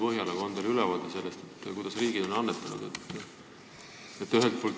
On teil ülevaade sellest, kui palju eri riigid on annetanud?